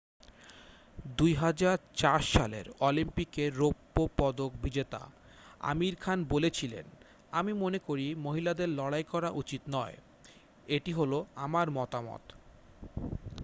"2004 সালের অলিম্পিকের রৌপ্য পদক বিজেতা আমির খান বলেছিলেন "আমি মনেকরি মহিলাদের লড়াই করা উচিত নয়""। "এটি হলো আমার মতামত""।